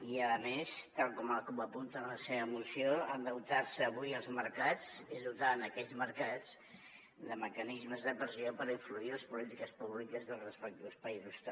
i a més tal com la cup apunta en la seva moció endeutar se avui als mercats és dotar aquells mercats de mecanismes de pressió per influir en les polítiques públiques dels respectius països també